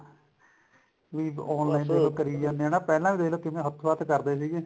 ਵੀ online shopping ਕਰੀ ਜਾਂਦੇ ਨੇ ਨਾ ਪਹਿਲਾਂ ਵੀ ਦੇਖੋ ਕਿਵੇਂ ਹੱਥੋ ਹੱਥ ਕਰਦੇ ਸੀਗੇ